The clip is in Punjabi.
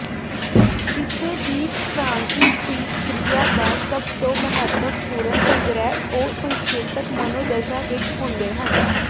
ਕਿਸੇ ਵੀ ਫਰਾਂਸੀਸੀ ਕ੍ਰਿਆ ਦਾ ਸਭ ਤੋਂ ਮਹੱਤਵਪੂਰਨ ਸੰਗ੍ਰਹਿ ਉਹ ਸੰਕੇਤਕ ਮਨੋਦਸ਼ਾ ਵਿੱਚ ਹੁੰਦੇ ਹਨ